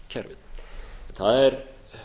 efnahagskerfi það er